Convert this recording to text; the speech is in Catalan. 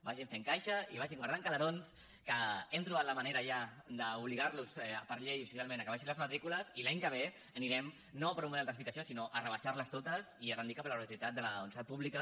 vagin fent caixa i vagin guardant calerons que hem trobat la manera ja d’obligar los per llei i socialment a que abaixin les matrícules i l’any que ve anirem no a un model de rectificació sinó a rebaixar les totes i a tendir cap a la gratuïtat de la universitat pública